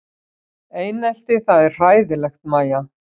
Einelti það er hræðilegt Mæja?